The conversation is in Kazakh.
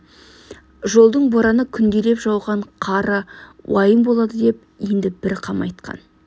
жолдың бораны күнделеп жауған қары уайым болады деп енді бір қам айтқан